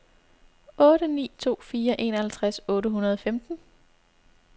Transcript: otte ni to fire enoghalvtreds otte hundrede og femten